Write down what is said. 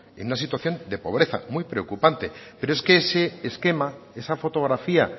en una situación de pobreza muy preocupante pero es que ese esquema esa fotografía